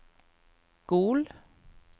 Gol